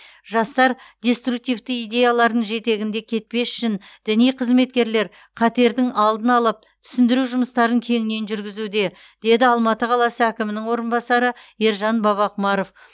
жастар деструктивті идеялардың жетегінде кетпес үшін діни қызметкерлер қатердің алдын алып түсіндіру жұмыстарын кеңінен жүргізуде деді алматы қаласы әкімінің орынбасары ержан бабақұмаров